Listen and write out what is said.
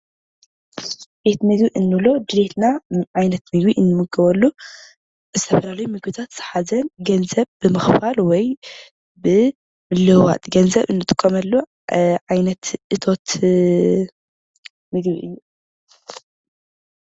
ቤት ምግቢ እንብሎ ድሌትና ዓይነት ምግቢ እንምገበሉ ዝተፈላለዩ ምግብታት ዝሓዘ ገንዘብ ብምኽፋል ወይ ብምልውዋጥ ገንዘብ እንጥቀመሉ ዓይነት እቶት ምግቢ እዩ፡፡